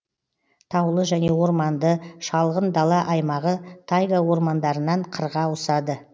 таулы және орманды шалғын дала аймағы тайга ормандарынан қырға ауысады